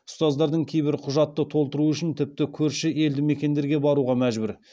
ұстаздардың кейбірі құжатты толтыру үшін тіпті көрші елдімекендерге баруға мәжбүр